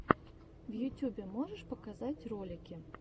в ютюбе можешь показать ролики